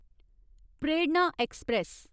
प्रेरणा ऐक्सप्रैस